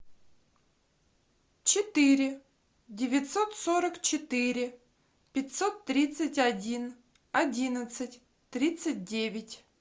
четыре девятьсот сорок четыре пятьсот тридцать один одиннадцать тридцать девять